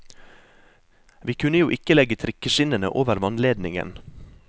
Vi kunne jo ikke legge trikkeskinnene over vannledningen.